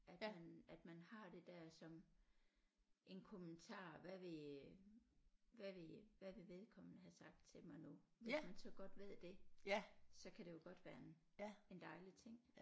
At man at man har det der som en kommentar hvad ville hvad ville hvad ville vedkommende have sagt til mig nu hvis man så godt ved det så kan det jo godt være en en dejlig ting